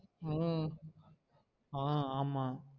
அஹ் ஆஹ் ஆமா